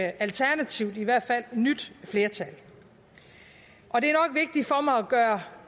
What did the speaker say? alternativt i hvert fald nyt flertal og det